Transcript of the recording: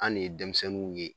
An' de ye denmisɛnninw ye